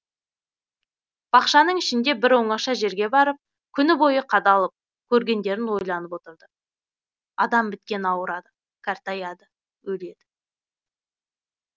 бақшаның ішінде бір оңаша жерге барып күні бойы қадалып көргендерін ойланып отырды адам біткен ауырады кәртаяды өледі